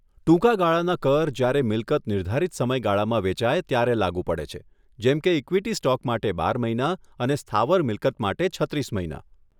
ટૂંકા ગાળાના કર જ્યારે મિલકત નિર્ધારિત સમય ગાળામાં વેચાય ત્યારે લાગું પડે છે જેમ કે ઇક્વિટી સ્ટોક માટે બાર મહિના અને સ્થાવર મિલકત માટે છત્રીસ મહિના.